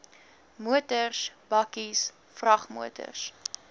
motors bakkies vragmotors